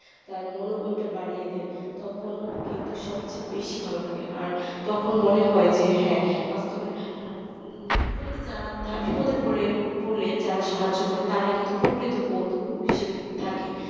তার মনোবল টা বাড়িয়ে দেয় তখন কিন্তু সব সবচেয়ে বেশি ভালো লাগে। আর তখন মনে হয় যে হ্যাঁ তবে বিপদে পড়ে নিয়ে যারা সাহায্য করে তারাই কিন্তু প্রকৃত বন্ধু হিসেবে থাকে